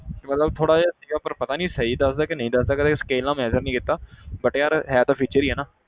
ਕਿ ਮਤਲਬ ਥੋੜ੍ਹਾ ਜਿਹਾ ਸੀਗਾ ਪਰ ਪਤਾ ਨੀ ਸਹੀ ਦੱਸਦਾ ਕਿ ਨਹੀਂ ਦੱਸਦਾ ਕਦੇ scale ਨਾਲ measure ਨੀ ਕੀਤਾ but ਯਾਰ ਹੈ ਤਾਂ feature ਹੀ ਹੈ ਨਾ।